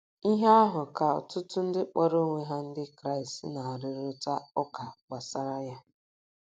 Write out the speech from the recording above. Ihe ahụ ka ọtụtụ ndị kpọrọ onwe ha Ndị Kraịst na - arụrịta ụka gbasara ya.